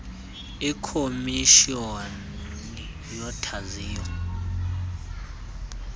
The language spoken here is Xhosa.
ikhomis honi yothaziyo